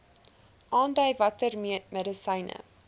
aandui watter medisyne